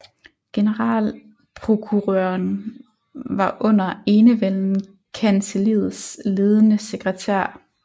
Generalprokurøren var under enevælden kancelliets ledende sekretær